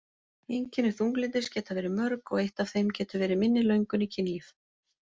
Einkenni þunglyndis geta verið mörg og eitt af þeim getur verið minni löngun í kynlíf.